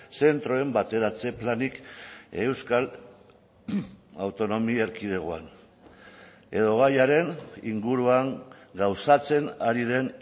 zentroen bateratze planik euskal autonomi erkidegoan edo gaiaren inguruan gauzatzen ari den